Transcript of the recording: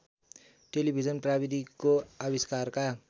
television प्रविधिको अविष्कारका